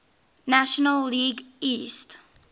national league east